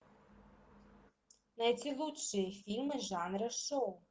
найти лучшие фильмы жанра шоу